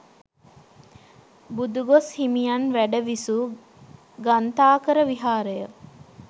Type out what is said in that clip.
බුදුගොස් හිමියන් වැඩ විසු ගන්ථාකර විහාරය